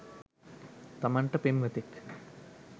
තමන්ට පෙම්වතෙක්